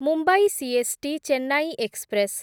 Mumbai CST Chennai express